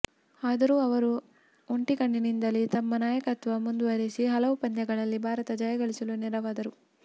ಆದರೂ ಅವರು ಒಂಟಿಕಣ್ಣಿನಿಂದಲೇ ತಮ್ಮ ನಾಯಕತ್ವ ಮುಂದುವರೆಸಿ ಹಲವು ಪಂದ್ಯಗಳಲ್ಲಿ ಭಾರತ ಜಯಗಳಿಸಲು ನೆರವಾದರು